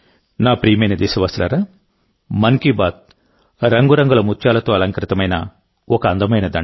నా ప్రియమైన దేశవాసులారా మన్ కీ బాత్ రంగురంగుల ముత్యాలతో అలంకృతమైన ఒక అందమైన దండ